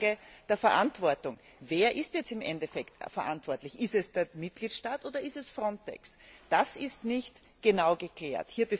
die Frage der Verantwortung Wer ist im Endeffekt verantwortlich? Ist es der Mitgliedstaat, oder ist es FRONTEX? Das ist nicht genau geklärt.